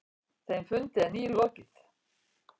Þeim fundi er nýlokið.